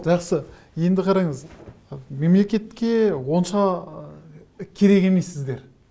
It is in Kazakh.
жақсы енді қараңыз мемлекетке онша ы керек емессіздер